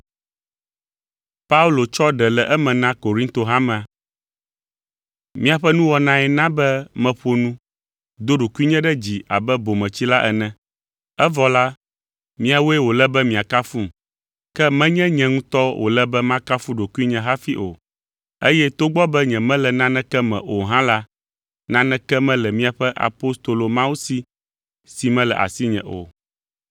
Miaƒe nuwɔnae na be meƒo nu, do ɖokuinye ɖe dzi abe bometsila ene. Evɔ la, miawoe wòle be miakafum, ke menye nye ŋutɔ wòle be makafu ɖokuinye hafi o, eye togbɔ be nyemele naneke me o hã la, naneke mele miaƒe apostolo mawo si si mele asinye o.